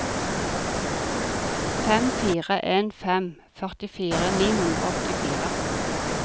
fem fire en fem førtifire ni hundre og åttifire